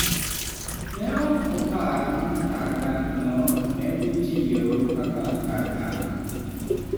Ne ok opar ni kar dakno ne dhi tiyo kaka kar dak.